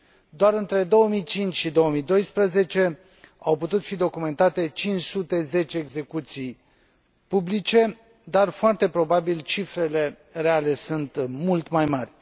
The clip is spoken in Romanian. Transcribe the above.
Doar între 2005 și 2012 au putut fi documentate 510 execuții publice, dar foarte probabil cifrele reale sunt mult mai mari.